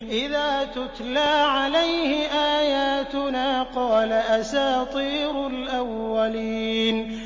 إِذَا تُتْلَىٰ عَلَيْهِ آيَاتُنَا قَالَ أَسَاطِيرُ الْأَوَّلِينَ